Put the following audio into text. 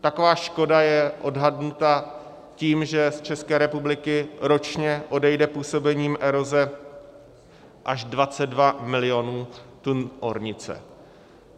Taková škoda je odhadnuta tím, že z České republiky ročně odejde působením eroze až 22 mil. tun ornice.